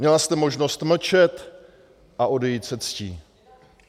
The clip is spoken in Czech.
Měla jste možnost mlčet a odejít se ctí.